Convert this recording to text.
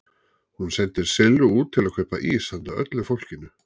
Hún sendir Sillu út til að kaupa ís handa öllu fólkinu.